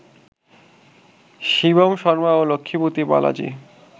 শিবম শর্মা ও লক্ষ্মীপতি বালাজি